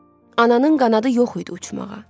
Ananın qanadı yox idi uçmağa.